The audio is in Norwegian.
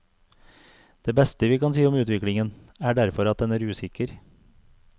Det beste vi kan si om utviklingen, er derfor at den er usikker.